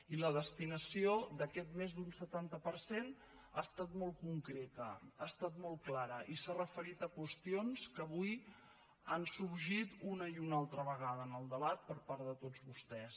i la destinació d’aquest més d’un setanta per cent ha estat molt concreta ha estat molt clara i s’ha referit a qüestions que avui han sorgit una i una altra vegada en el debat per part de tots vostès